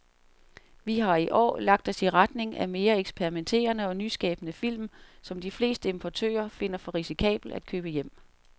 Vi har i år lagt os i retning af mere eksperimenterede og nyskabende film, som de fleste importører finder for risikable at købe hjem.